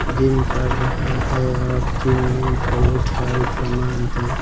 Gym कर रहा है और जिम में बहुत सारे सामान हैं।